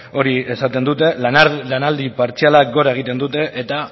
hori esaten dute lanaldi partzialak gora egiten dute eta